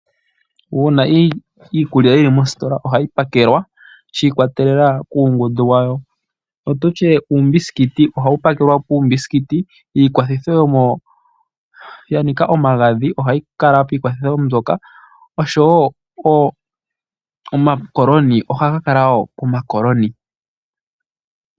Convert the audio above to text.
Uuna iikulya yili Moositola ohayi pakelwa shi ikwatelelwa kuungundu wayo. Otutye uumbisikiti ohau pakelwa puumbiisikiti, iikwathitho ya nika omagadhi ohayi kala piikwathitho mbyoka oshowo omakoloni ohaga kala wo pomakoloni.